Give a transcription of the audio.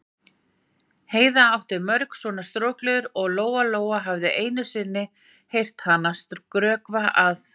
Heiða átti mörg svona strokleður og Lóa-Lóa hafði einu sinni heyrt hana skrökva að